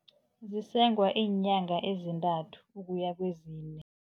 Zisengwa iinyanga ezintathu ukuya kezine.